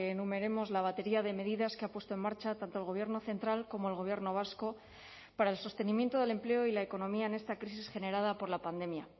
numeremos la batería de medidas que ha puesto en marcha tanto el gobierno central como el gobierno vasco para el sostenimiento del empleo y la economía en esta crisis generada por la pandemia